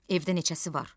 Evdə neçəsi var?